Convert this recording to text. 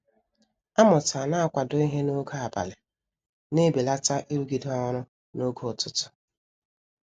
A mụtara na -kwado ịhe n'oge abalị na-ebelata irugide ọrụ n'oge ụtụtụ.